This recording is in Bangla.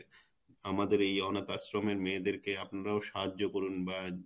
আমাদের এই অনাথ আশ্রমের মেয়েদের আপনারাও সাহায্য করুন বা